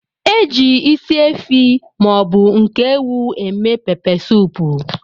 Eji ịsị efi maọbu nke ewụ eme pepe soupu.